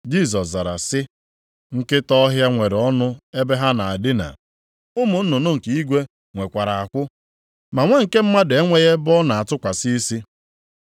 Jisọs zara, sị, “Nkịta ọhịa nwere ọnụ ebe ha na-edina, ụmụ nnụnụ nke igwe nwekwara akwụ, ma Nwa nke Mmadụ enweghị ebe ọ na-atụkwasị isi.”